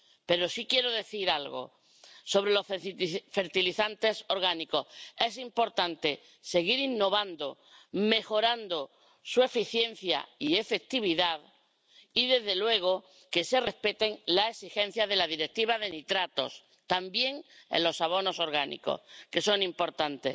Pero sí quiero decir algo sobre los fertilizantes orgánicos es importante seguir innovando, mejorando su eficiencia y efectividad y, desde luego, que se respeten las exigencias de la Directiva sobre nitratos, también en los abonos orgánicos, que son importantes.